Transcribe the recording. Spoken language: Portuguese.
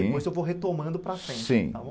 Depois eu vou retomando para frente, sim, está bom?